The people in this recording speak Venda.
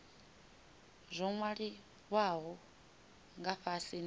zwo nwaliwaho nga fhasi ndi